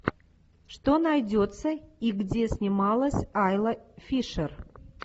что найдется и где снималась айла фишер